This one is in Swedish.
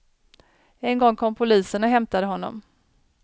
En gång kom polisen och hämtade honom.